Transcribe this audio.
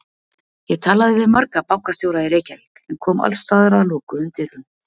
Ég talaði við marga bankastjóra í Reykjavík en kom alls staðar að lokuðum dyrum.